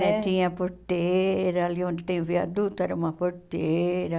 Tinha a porteira, ali onde tem o viaduto, era uma porteira.